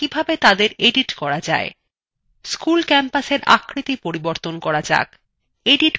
school campusএর আকৃতি পরিবর্তন করা যাক